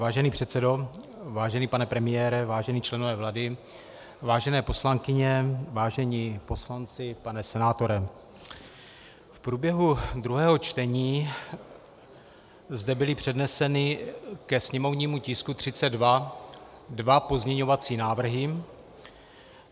Vážený předsedo, vážený pane premiére, vážení členové vlády, vážené poslankyně, vážení poslanci, pane senátore, v průběhu druhého čtení zde byly předneseny ke sněmovnímu tisku 32 dva pozměňovací návrhy.